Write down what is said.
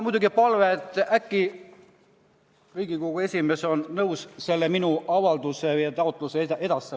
Mul on palve, et äkki oleks Riigikogu esimees nõus minu avalduse ja taotluse härra Ligile edastama.